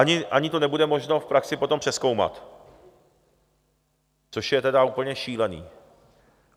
ani to nebude možné v praxi potom přezkoumat, což je tedy úplně šílené.